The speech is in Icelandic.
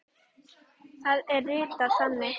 Það er ritað þannig